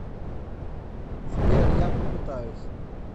сбер я попытаюсь